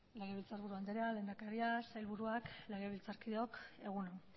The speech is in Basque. legebiltzarburu andrea lehendakaria sailburuak legebiltzarkideok egun on